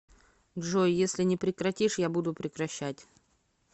джой если не прекратишь я буду прекращать